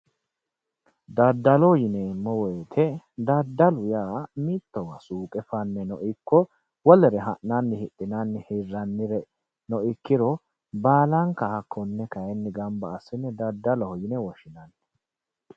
Daddallo yineemmo woyte daddalu yaa mittowa suqe faneno ikko wolere ha'nanni hiranni hidhinannire ikko baalanka hakkone baalla gamba assine daddalloho yinne woshshinanni.